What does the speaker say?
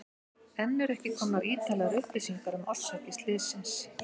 Enn eru ekki komnar ítarlegar upplýsingar um orsakir slyssins.